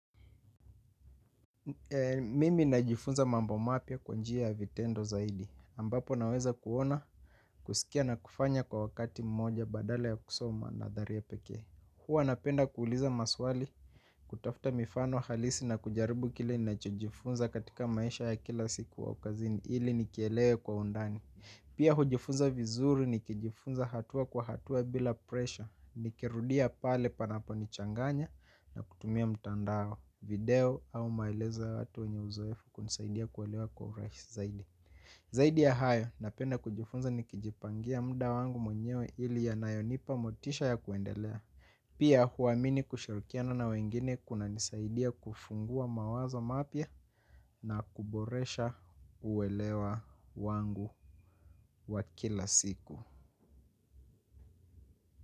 Mimi najifunza mambo mapya kwa njia ya vitendo zaidi. Ambapo naweza kuona kusikia na kufanya kwa wakati mmoja badala ya kusoma nadharia pekee. Huwa napenda kuuliza maswali kutafuta mifano halisi na kujaribu kile nachojifunza katika maisha ya kila siku au kazini. Ili nikielewe kwa undani. Pia hujifunza vizuri nikijifunza hatua kwa hatua bila pressure. Nikirudia pale panaponichanganya na kutumia mtandao video au maelezo ya watu wenye uzoefu kunisaidia kuelewa kwa urahisi zaidi. Zaidi ya hayo napenda kujifunza nikijipangia muda wangu mwenyewe ili yanayonipa motisha ya kuendelea. Pia huamini kushirikiana na wengine kunanisaidia kufungua mawazo mapya na kuboresha uelewa wangu wa kila siku.